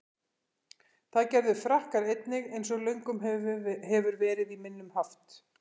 Það gerðu Frakkar einnig, eins og löngum hefur verið í minnum haft.